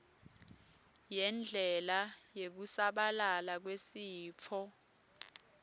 yendlela yekusabalala kwesitfo